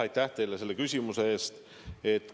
Aitäh teile selle küsimuse eest!